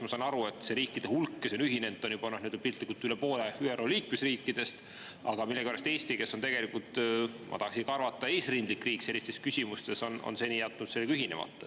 Ma saan aru, et see riikide hulk, kes on ühinenud, on piltlikult üle poole ÜRO liikmesriikidest, aga millegipärast Eesti, kes on tegelikult, ma tahaksin arvata, eesrindlik riik sellistes küsimustes, on seni jätnud ühinemata.